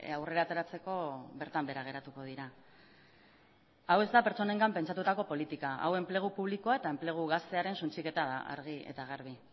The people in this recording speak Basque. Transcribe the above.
aurrera ateratzeko bertan behera geratuko dira hau ez da pertsonengan pentsatutako politika hau enplegu publikoa eta enplegu gaztearen suntsiketa da argi eta garbi